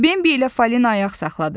Bembi ilə Falina ayaq saxladı.